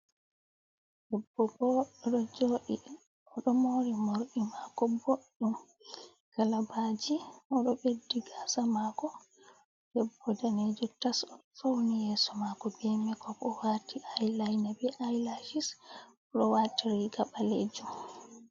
Debbo boɗɗo ɗo joɗi, oɗo mori morɗi mako boɗɗum kalabaji, oɗo beddi gasa mako. Debbo danejo tas ofauni yeso mako be makeup owati eyeliner be eyelashes oɗo wati riga ɓalejum.